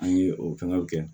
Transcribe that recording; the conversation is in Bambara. An ye o fɛngɛw kɛ